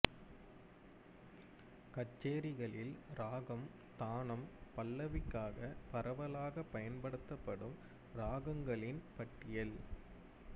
கச்சேரிகளில் இராகம் தானம் பல்லவிக்காக பரவலாக பயன்படுத்தப்படும் இராகங்களின் பட்டியல்